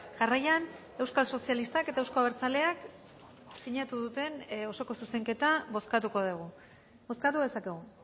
jarraian euskal sozialistak eta euzko abertzaleak sinatu duten osoko zuzenketa bozkatuko dugu bozkatu dezakegu